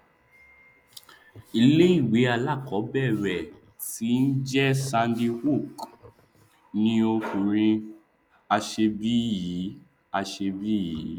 ìléìwé alákọọbẹrẹ tí njẹ sandy hook ni ọkùrin aṣebi yìí aṣebi yìí